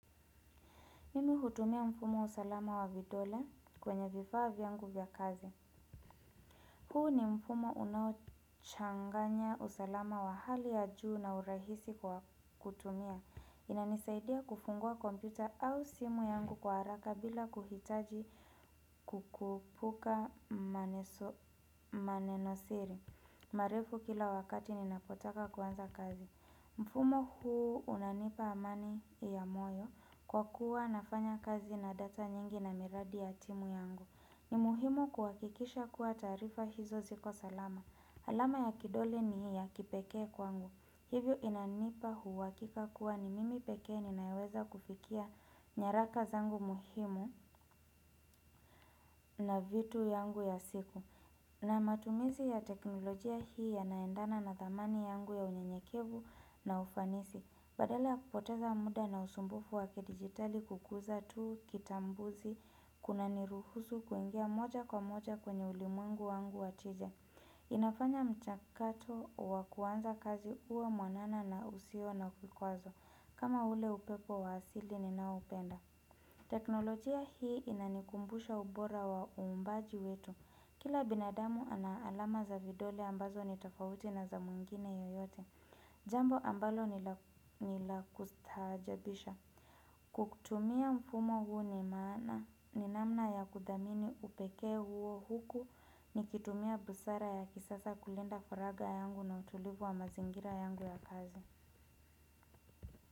Mimi hutumia mfumo usalama wa vidole kwenye vifaa vyangu vya kazi. Huu ni mfumo unaochanganya usalama wa hali ya juu na urahisi kwa kutumia. Inanisaidia kufungua komputa au simu yangu kwa haraka bila kuhitaji kukupuka maneso manenosiri. Marefu kila wakati ninapotaka kuanza kazi. Mfumo huu unanipa amani ya moyo kwa kuwa nafanya kazi na data nyingi na miradi ya timu yangu ni muhimu kuwakikisha kuwa taarifa hizo ziko salama alama ya kidole ni ya kipekee kwangu Hivyo inanipa huwakika kuwa ni mimi pekee ninayeweza kufikia nyaraka zangu muhimu na vitu yangu ya siku na matumizi ya teknolojia hii yanaendana na thamani yangu ya unyenyekevu na ufanisi Badala ya kupoteza mda na usumbufu wa kidijitali kukuza tuu kitambuzi, kunaniruhusu kuingia moja kwa moja kwenye ulimwengu wangu wa tija. Inafanya mchakato wa kuanza kazi uwe mwanana na usio na kukwazo kama ule upepo wa asili ninaoupenda. Teknolojia hii inanikumbusha ubora wa uumbaji wetu. Kila binadamu ana alama za vidole ambazo ni tafauti na za mwingine yoyote. Jambo ambalo ni la ni la kustaajabisha Kwa kutumia mfumo huu ni maana ni namna ya kuthamini upekee huo huku Nikitumia busara ya kisasa kulinda furaga yangu na utulivu wa mazingira yangu ya kazi.